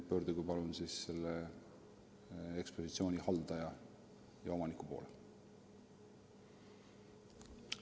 Pöörduge palun selle ekspositsiooni haldaja ja omaniku poole.